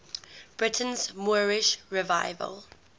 britain's moorish revival